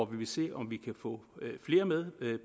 vi kan se om vi kan få flere med